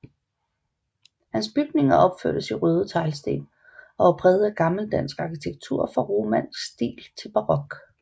Hans bygninger opførtes i røde teglsten og var præget af gammel dansk arkitektur fra romansk stil til barok